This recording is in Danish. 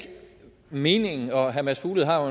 meningen herre mads fuglede har jo